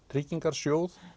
tryggingarsjóð